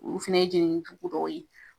Olu fɛnɛ ye jenini jugu dɔw ye